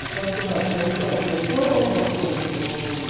É tanto que a que fazia todas as correções.